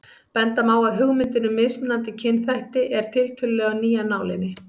Benda má á að hugmyndin um mismunandi kynþætti er tiltölulega ný af nálinni.